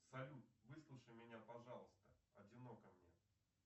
салют выслушай меня пожалуйста одиноко мне